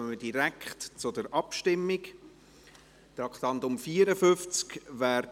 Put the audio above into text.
Dann kommen wir direkt zur Abstimmung zum Traktandum 54.